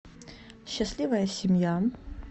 счастливая семья